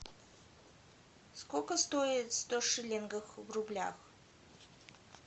сколько стоит сто шиллингов в рублях